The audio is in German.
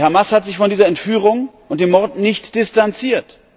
Die Hamas hat sich von dieser Entführung und dem Mord nicht distanziert.